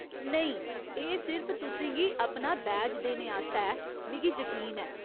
नेईं, एह्‌‌ सिर्फ तु'सें गी अपना बैज देने आस्तै ऐ, मिगी जकीन ऐ।